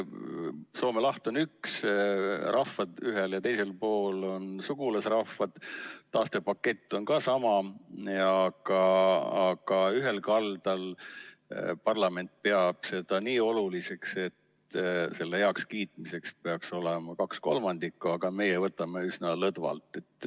Soome laht on üks, rahvad ühel ja teisel pool on sugulasrahvad, taastepakett on ka sama, aga ühel kaldal peab parlament seda nii oluliseks, et selle heakskiitmiseks peab poolt olema kaks kolmandikku, aga meie võtame üsna lõdvalt.